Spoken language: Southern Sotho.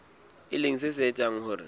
e leng se etsang hore